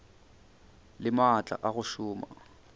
le maatla a go šoma